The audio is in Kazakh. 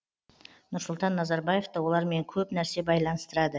нұрсұлтан назарбаевты олармен көп нәрсе байланыстырады